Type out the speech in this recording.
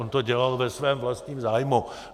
On to dělal ve svém vlastním zájmu.